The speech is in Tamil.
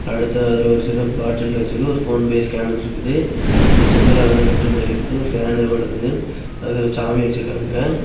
அடுத்தது அதுல ஒரு சின்ன பாட்டில்ல வெச்சிருக்கு ஒரு போன்பே ஸ்கேனர் இருக்குது அது செங்கல்லால கட்டடம் மாதிரி இருக்குது ஒரு ஃபேன் ஓடுது அதுல ஒரு சாமி வச்சிருக்காங்க.